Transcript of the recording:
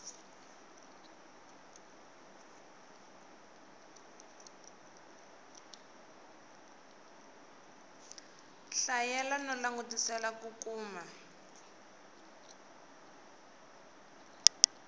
hlayela no langutisela ku kuma